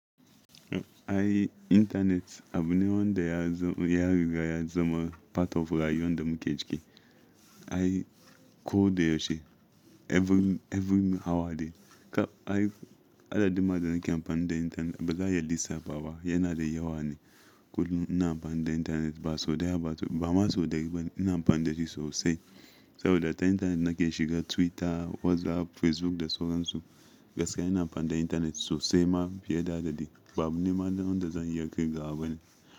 Ai internet abu ne wanda ya zo riga ya zama part of rayuwar da muke ciki. Ai ko da yaushe every, every hour dai. Ai adadi ma da nake amfani da internet ba za ya lissafa ba, yana da yawa ne. Kullum ina amfani da internet ba sau daya ba, ba sau biyu ba, ba ma sau dari ba ina amfani da shi sosai. Saboda ta internet nake shiga Twitter, WhatsApp, Facebook da sauran su. Gaskiya ina amfani da internet sosai ma fiye da adaɗi. Ba abu nema wanda zan iya kirgawa bane.